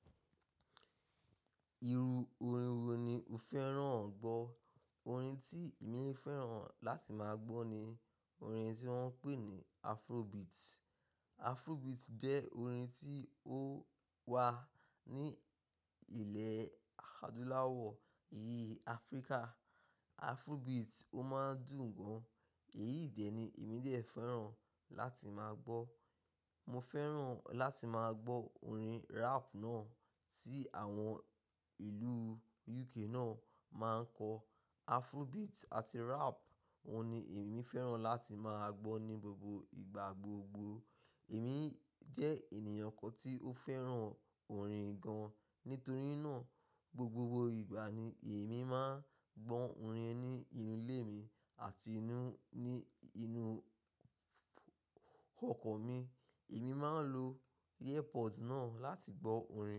Iru orin wo ni o fẹ́ràn gbọ́? Orin tí èmi fẹ́ràn láti máa gbọ́ ni orin tí wọ́n ń pè ní Afrobeat. Afrobeat jẹ́ orin tí ó wà ní ilẹ̀ adúláwọ̀ ìyí Afíríkà. Afrobeat ó máa ń dùn gan. Èyí dẹ̀ ni èmi de fẹ́ràn láti máa gbọ́. Mo fẹ́ràn láti máa gbọ́ orin rap náà tí àwọn ìlú UK náà máa ń kọ. Afrobeat àti rap, wọ́n ni èmi fẹ́ràn láti máa gbọ́ ní gbogbo ìgbà gbogbo. Èmi jẹ́ ènìyàn kan tí ó fẹ́ràn orin gan. Nítorí náà, gbogbo ìgbà ni èmi máa ń gbọ́ orin ní inú ilé mi àti ní inú ọkọ̀ mi. Èmi máa ń lo earpod náà láti gbọ́ orin.